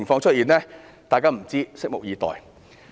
大家都不知道，只能拭目以待。